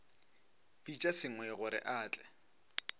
bitša sengwai gore a tle